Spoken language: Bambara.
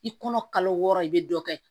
I kɔnɔ kalo wɔɔrɔ i bɛ dɔ kɛ